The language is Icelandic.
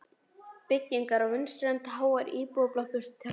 byggingar á vinstri hönd, háar íbúðablokkir til hægri.